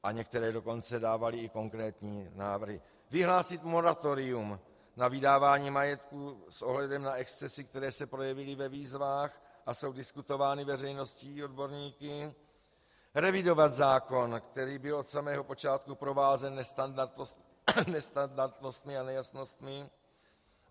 A některé dokonce dávaly i konkrétní návrhy - vyhlásit moratorium na vydávání majetku s ohledem na excesy, které se projevily ve výzvách a jsou diskutovány veřejností odborníky, revidovat zákon, který byl od samého počátku provázen nestandardnostmi a nejasnostmi.